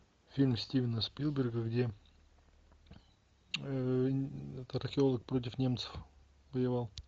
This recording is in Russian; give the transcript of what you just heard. фильм стивена спилберга где археолог против немцев воевал